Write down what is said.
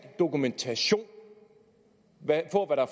dokumentation